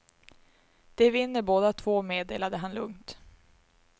De vinner båda två, meddelade han lugnt.